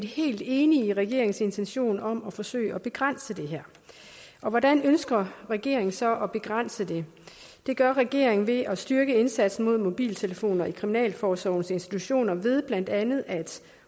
helt enig i regeringens intention om at forsøge at begrænse det her hvordan ønsker regeringen så at begrænse det det gør regeringen ved at styrke indsatsen mod mobiltelefoner i kriminalforsorgens institutioner ved blandt andet at